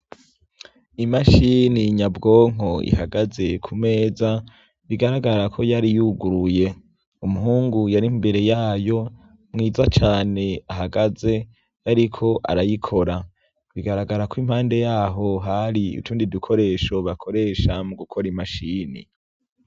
Imashini nyabwonko ihagaze ku meza bigaragara ko yari yuguruye umuhungu yari imbere yayo mwiza cane ahagaze yariko arayikora bigaragara ko impande yaho hari utundi dukoresho bakoresha mu gukora imashini.